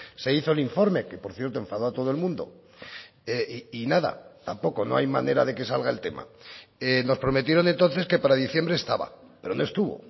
se hizo el informe que por cierto enfadó a todo el mundo y nada tampoco no hay manera de que salga el tema nos prometieron entonces que para diciembre estaba pero no estuvo